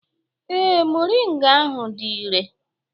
Ee, moringa ahụ dị irè.